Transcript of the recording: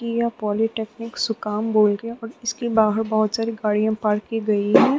ये पॉलिटेक्निक सुकाम बोलके और इसके बाहर बहुत सारी गाड़ियां पार्क की गई है।